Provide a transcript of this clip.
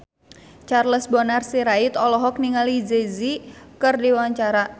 Charles Bonar Sirait olohok ningali Jay Z keur diwawancara